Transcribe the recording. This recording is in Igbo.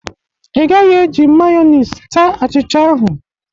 Ị gaghị e ji mayonis taa achicha ahụ!